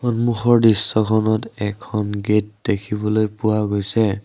সন্মুখৰ দৃশ্যখনত এখন গেট দেখিবলৈ পোৱা গৈছে।